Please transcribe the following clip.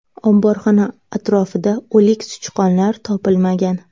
Omborxona atrofida o‘lik sichqonlar topilmagan.